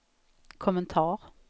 kommentar